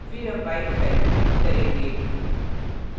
फिर हम y की value print करेंगे